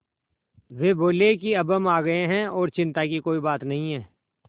वे बोले कि अब हम आ गए हैं और चिन्ता की कोई बात नहीं है